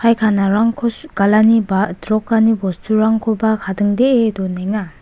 aikanarangko su·galini ba itrokani bosturangkoba kadingdee donenga.